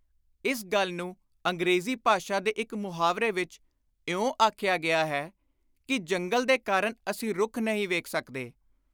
ਇਸ ਗੱਲ ਨੂੰ ਅੰਗਰੇਜ਼ੀ ਭਾਸ਼ਾ ਦੇ ਇਕ ਮੁਹਾਵਰੇ ਵਿਚ ਇਉਂ ਆਖਿਆ ਗਿਆ ਹੈ ਕਿ “ਜੰਗਲ ਦੇ ਕਾਰਨ ਅਸੀਂ ਰੁੱਖ ਨਹੀਂ ਵੇਖ ਸਕਦੇ।